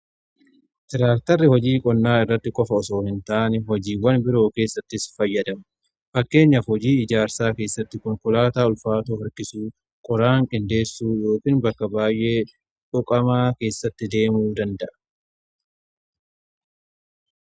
Tiraaktarri hojii qonnaa irratti qofa osoo hin ta'ani hojiiwwan biroo keessattis ni fayyada. Fakkeenyaf hojii ijaarsaa keessatti konkolaataa ulfaatoo harkisuu, qoraan qindeessuu bakka baay'ee dhuqamaa keessatti deemuu danda'a.